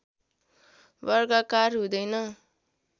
वर्गाकार हुँदैन